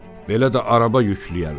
"Belə də araba yükləyərlər?"